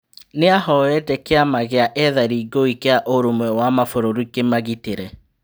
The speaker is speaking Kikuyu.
Nĩ ahoete kĩ ama gĩ a ethari ngũĩ kĩ a ũrũmwe wa mabũrũri kĩ magitĩ re.